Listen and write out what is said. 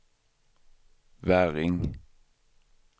Väring